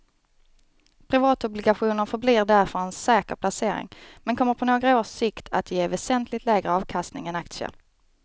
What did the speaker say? Privatobligationer förblir därför en säker placering men kommer på några års sikt att ge väsentligt lägre avkastning än aktier.